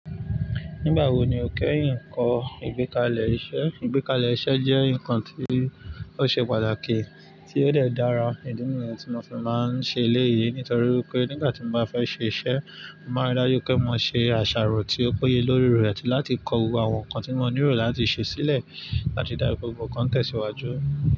Nígbà wo ni o kẹ́ yìí ń kọ ìgbékalẹ̀ iṣẹ́? Ìgbékalẹ̀ iṣẹ́ jẹ́ nǹkan tí ó ṣe pàtàkì tí ó dẹ̀ dára ídìí mi tí mo fi máa ń ṣe eléyìí. Nítorí pé nígbà tí mo bá fẹ́ ṣe iṣẹ́, mo máa dájú pé mo ṣe àṣàrò tí ó péye lórí rẹ̀ àti láti kọ owó àwọn nǹkan tí mo nílò láti ṣe sílẹ̀ àti dá gbogbo nǹkan tẹ̀síwájú.